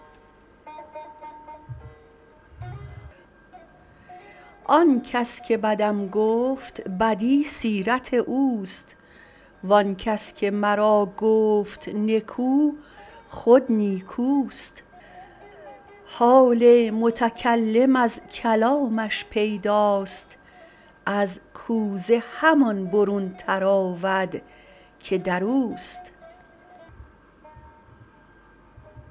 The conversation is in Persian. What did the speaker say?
آن کس که بدم گفت بدی سیرت اوست وان کس که مرا گفت نکو خود نیکوست حال متکلم از کلامش پیداست از کوزه همان برون تراود که در اوست